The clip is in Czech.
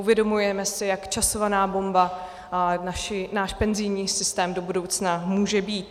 Uvědomujeme si, jak časovaná bomba náš penzijní systém do budoucna může být.